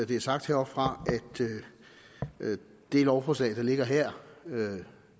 det er sagt heroppefra at det lovforslag der ligger her